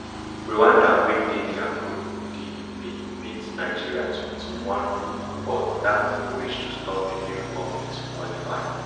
rwanda wey dey dia group d bin beat nigeria twenty-one but dat no reach to stop benin republic to qualify